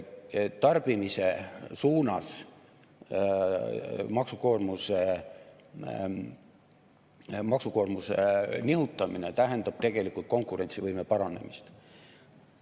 Tarbimise suunas maksukoormuse nihutamine tähendab tegelikult konkurentsivõime paranemist.